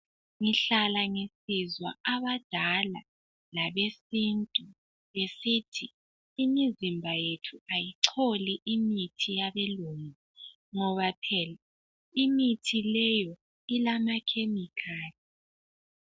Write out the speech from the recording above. Ngihlala ngisizwa abadala labesintu besithi .Imizimba yethu ayicholi imithi yabelungu .Ngoba phela imithi leyo ilama chemical .